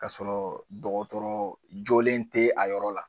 Ka sɔrɔ dɔgɔtɔrɔ jolen tɛ a yɔrɔ la.